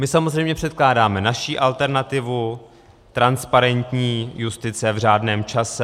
My samozřejmě předkládáme naši alternativu transparentní justice v řádném čase.